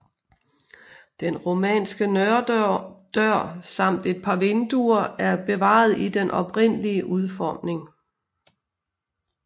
Den romanske norddør samt et par vinduer er bevarede i den oprindelige udformning